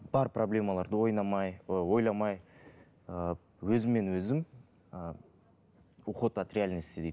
бар проблемаларды ы ойламай ы өзіммен өзім ы уход от реальности дейді